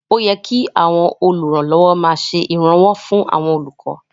Ó yẹ kí àwọn olùrànlọ́wọ́ máa ṣe ìrànwọ́ fún àwọn olùkọ́